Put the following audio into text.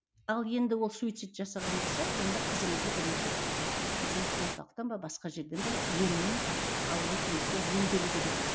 ал енді ол суицид жасаған болса онда қызыңызды бірінші біздің орталықтан ба басқа жерден бе емінен алып өтіңіз ол емделу керек